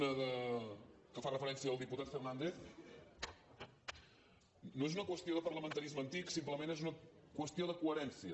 una que fa referència al diputat fernàndez no és una qüestió de parlamentarisme antic simplement és una qüestió de coherència